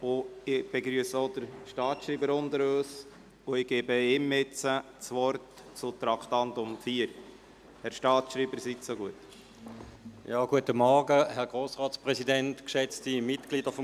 Ich begrüsse den Staatsschreiber unter uns und erteile ihm das Wort zu Traktandum 4.